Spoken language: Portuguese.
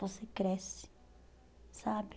Você cresce, sabe?